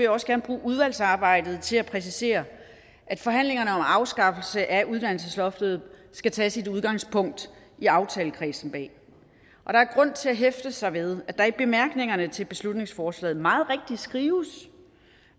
også gerne bruge udvalgsarbejdet til at præcisere at forhandlingerne om en afskaffelse af uddannelsesloftet skal tage sit udgangspunkt i aftalekredsen bag der er grund til at hæfte sig ved at der i bemærkningerne til beslutningsforslaget meget rigtigt skrives